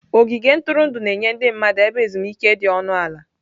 Ogige ntụrụndụ na-enye ndị mmadụ ebe ezumike dị ọnụ ala.